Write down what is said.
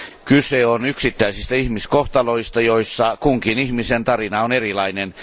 Kyse on yksittäisistä ihmiskohtaloista, joissa kunkin ihmisen tarina on erilainen.